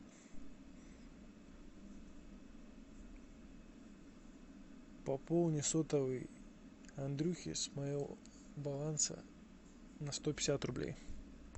пополни сотовый андрюхи с моего баланса на сто пятьдесят рублей